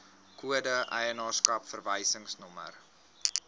kode eienaarskap verwysingsnommer